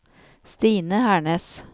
Stine Hernes